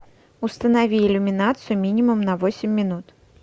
установи иллюминацию минимум на восемь минут